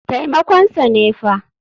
Taimakon sa ne fa.